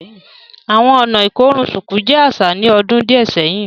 Awọn ọ̀nà ikorùn ṣukù jẹ aṣa ní òdún díẹ̀ sẹ̀hin